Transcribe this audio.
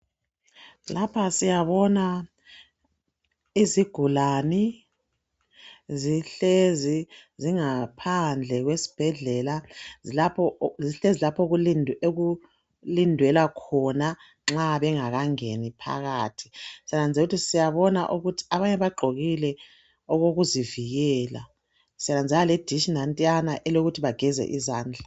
Lapha siyabona izigulani zihlezi zingaphandle kwesibhedlela. Zihlezi lapho okulindelwe khona nxa bengakangeni phakathi. Siyananzelela ukuthi siyabona ukuthi abanye bagqokile okokuzivikela. Sinanzelela ukuthi ledishi nantiyana elokuthi bageze izandla.